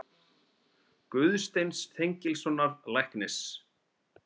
Guðsteins Þengilssonar læknis.